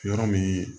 Yɔrɔ min